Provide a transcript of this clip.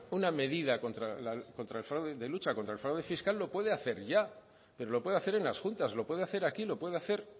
una medida de lucha contra el fraude fiscal lo puede hacer ya pero lo puede hacer en las juntas lo puede hacer aquí lo puede hacer